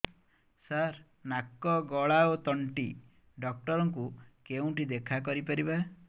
ସାର ନାକ ଗଳା ଓ ତଣ୍ଟି ଡକ୍ଟର ଙ୍କୁ କେଉଁଠି ଦେଖା କରିପାରିବା